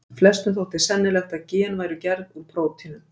Flestum þótti sennilegt að gen væru gerð úr prótínum.